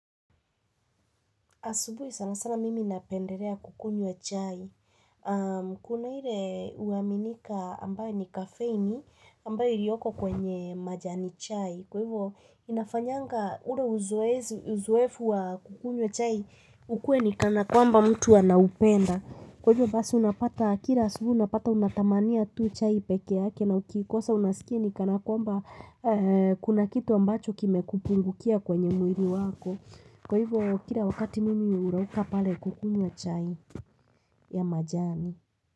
Asubuhi sana sana mimi inapenderea kukunywa chai. Kuna hile uaminika ambayo ni kafeini ambayo ilioko kwenye majani chai. Kwa hivyo inafanyanga ure uzuefu wa kukunye chai ukue ni kana kwamba mtu wanaupenda. Kwa hivyo basi unapata kira asubuhi unapata unatamania tu chai peke yake na ukikosa unasikia ni kana kwamba kuna kitu ambacho kime kupungukia kwenye mwiri wako. Kwa hivyo, kila wakati mimi urauka pale kukunywa chai ya majani.